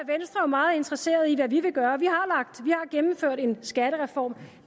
meget interesseret i hvad vi vil gøre vi har gennemført en skattereform